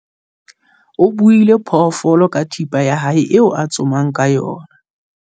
O buile phoofolo ka thipa ya hae eo a tsomang ka yona.